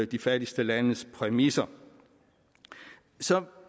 de fattigste landes præmisser så